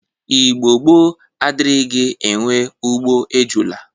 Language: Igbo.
Igbo gboo adrighi enwe ugbo ejụla.